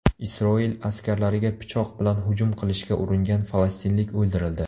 Isroil askarlariga pichoq bilan hujum qilishga uringan falastinlik o‘ldirildi.